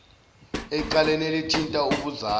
ecaleni elithinta ubuzali